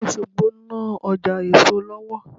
Àwọn ará Òṣogbo ń ná Ọjà èso lọ́wọ́